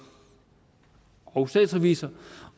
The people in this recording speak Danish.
og statsrevisor